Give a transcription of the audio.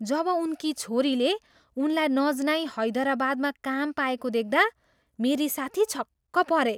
जब उनकी छोरीले उनलाई नजनाई हैदराबादमा काम पाएको देख्दा मेरी साथी छक्क परे।